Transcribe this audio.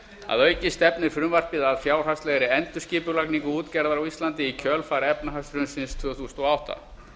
að auki stefnir frumvarpið að fjárhagslegri endurskipulagningu útgerðar á íslandi í kjölfar efnahagshrunsins tvö þúsund og átta